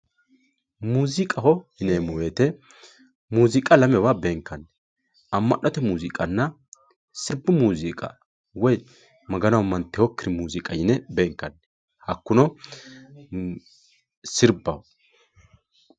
Muuziqa yinemo woyite muuziqa lamewa benkani amanotena sirbu muuziqa woyi magano amantewokir muziqa yine benkani hakuno sirbaho